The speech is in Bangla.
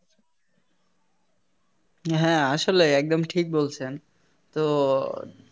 হ্যাঁ আসলেই একদম ঠিক বলছেন তো